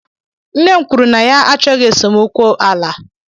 Nne m kwuru na ya achọghị esemokwu ala.